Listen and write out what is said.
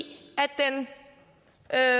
at